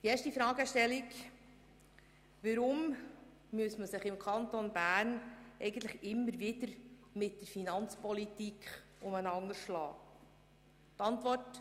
Die erste Fragestellung ist jene, weshalb wir uns im Kanton Bern immer wieder mit der Finanzpolitik beschäftigen müssen.